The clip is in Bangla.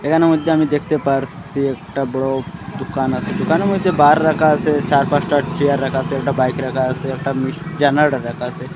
এখানের মধ্যে আমি দেখতে পারসি একটা বড়ো দুকান আছে দুকানের মইধ্যে বার রাখা আছে চার পাঁচটা চেয়ার রাখা আসে একটা বাইক রাখা আছে একটা মিস জেনেরটার রাখা আছে।